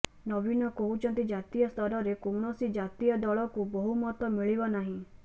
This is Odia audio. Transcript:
ନବୀନ କହୁଛନ୍ତି ଜାତୀୟ ସ୍ତରରେ କୌଣସି ଜାତୀୟ ଦଳକୁ ବହୁମତ ମିଳିବ ନାହିଁ